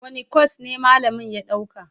Wane kwas ne malamin ya ɗauka?